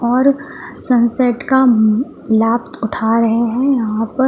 और सनसेट का लाभ उठा रहे हैं यहां पर--